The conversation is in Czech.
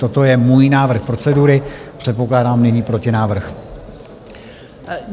Toto je můj návrh procedury, předpokládám nyní protinávrh.